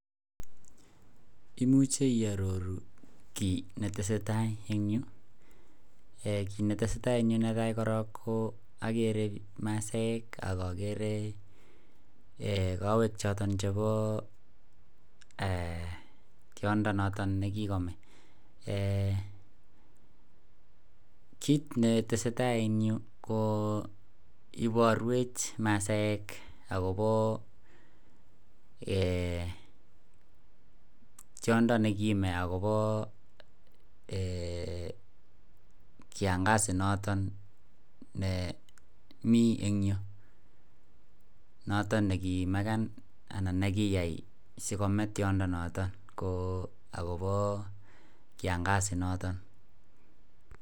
Imuche iaroru kiit netesetai en yu?ee kit netesetai en yu nekaai koron ko ogere masaek ak ogere kowek choton chebo tiondo noton nekikome, kiit netesetsi en yu ko iborwech masaek akobo tiondo akobo kiangazi noton nemi en yu, notom nekimeken anan nekiyai sikomee tiondo noton ko akobo kiangazi noton.